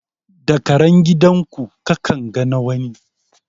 Da karen gidan ku ka kan ga na wani.